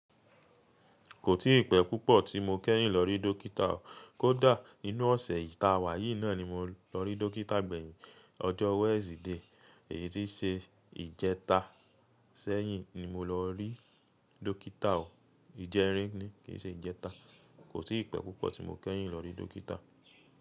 Kò tíi pẹ́ púpọ̀ tí mo kẹ́yìn lọ rí dọ́kítà o. Kódà nínú ọ̀sẹ̀ ta wa yìí náà ni mo lọ rí dọ́kítà gbẹ̀yìn. Ọjọ́ Wednesday, èyí tí ṣe ìjẹta sẹ́yìn ni mo lọ rí dọ́kítà o. Ìjẹrin ni, kì í ṣe ìjẹta. Kò sí ìpẹ́ púpọ̀ tí mo kẹ́yìn lọ rí dọ́kítà.